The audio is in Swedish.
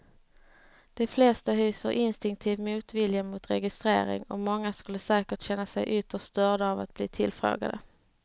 De flesta hyser instinktiv motvilja mot registrering och många skulle säkert känna sig ytterst störda av att bli tillfrågade.